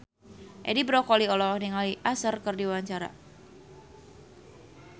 Edi Brokoli olohok ningali Usher keur diwawancara